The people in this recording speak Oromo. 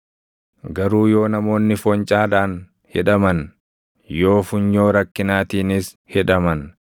Garuu yoo namoonni foncaadhaan hidhaman, yoo funyoo rakkinaatiinis hidhaman,